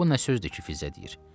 Bu nə sözdür ki, Fizzə deyir.